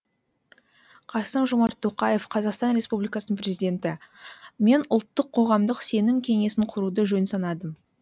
қасым жомарт тоқаев қазақстан республикасының президенті мен ұлттық қоғамдық сенім кеңесін құруды жөн санадым